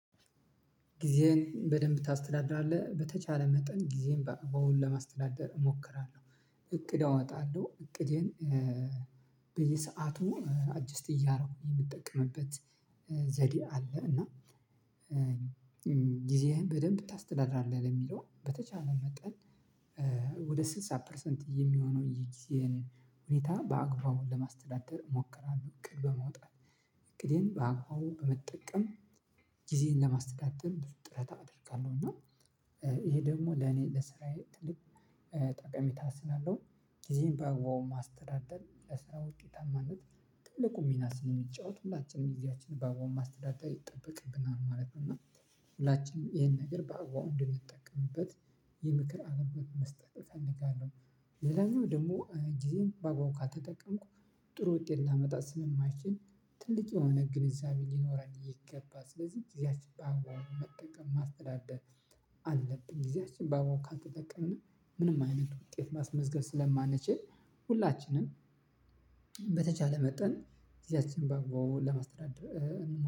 ጊዜን በደንብ ታስተዳድራለህ በተቻለ መጠን ጊዜዬን በአግባቡ ለማስተዳደር እሞክራለሁ። እቅድ አወጣለሁ እቅዴን በየሰአቱ አጀስት እያደረኩኝ የምጠቀምበት ዘዴ አለ። እና ጊዜህን በደንብ ታስተዳድራለህ ለሚለው በተቻለ መጠን። ወደ ስልሳ ፐርሰንት የሚሆነው ይሄን ሁኔታ በአግባቡ ለማስተዳደር እሞክራለሁ። እቅድ በመውጣት እቅዴን በአግባቡ በመጠቀም ጊዜን ለማስተዳደር ጥረት አደርጋለሁ። እና ይሄ ደግሞ ለኔ ለስራዬ ትልቅ ጠቀሜታ ስላለው ጊዜዬን በአግባቡ ማስተዳደር ለስራ ውጤታማነት ትልቁን ሚና ስንለሚጫወት ሁላችንም ጊዜያችንን በአግባቡ ማስተዳደር ይጠበቅብናል ማለት ነው። እና ሁላችንም ይሄን ነገር በአግባቡ እንድንጠቀምበት የምክር አገልግሎት መስጠት እፈልጋለሁ። ሌላኛው ደግሞ ጊዜዬን በአግባቡ ካልተጠቀምኩበት ጥሩ ውጤት ላመጣ ስለማልችል ትልቅ የሆነ ግንዛቤ ሊኖርን ይገባል። ስለዚህ ጊዜያችንን በአግባቡ መጠቀም ማስተዳደር አለብን። ጊዜያችን በአግባቡ ካልተጠቀምና ምንም አይነት ውጤት ማስመዝገብ ስለማንችል ሁላችንም በተቻለ መጠን ጊዜያችንን በአግባቡ ለማስተዳደር